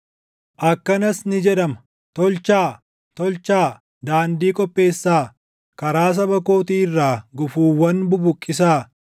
Akkanas ni jedhama: “Tolchaa; tolchaa; daandii qopheessaa! Karaa saba kootii irraa gufuuwwan bubuqqisaa.”